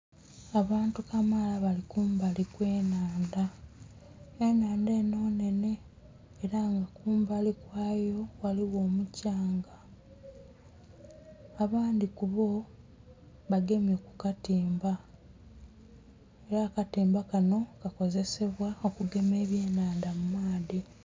Abantu kamaala bali kumbali kwe nhandha, enhandha enho nnenhe era nga kumbali kwayo ghaligho omukyanga abandhi kuboo bagemye ku katimba era akatimba kanho kakozesebwa okugema ebye nhandha mu muaadhi.